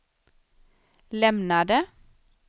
lämnade